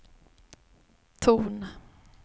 ton